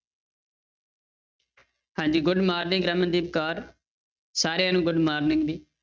ਹਾਂਜੀ good morning Ramandeep Kaur ਸਾਰਿਆਂ ਨੂੰ good morning ਜੀ।